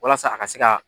Walasa a ka se ka